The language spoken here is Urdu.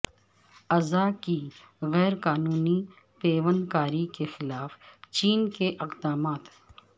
اعضاء کی غیرقانونی پیوندکاری کے خلاف چین کے اقدامات